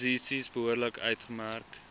posisies behoorlik uitgemerk